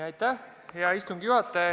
Hea istungi juhataja!